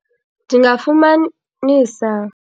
Ndingafumanisa.